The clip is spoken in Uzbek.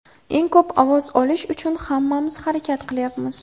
Eng ko‘p ovoz olish uchun hammamiz harakat qilyapmiz.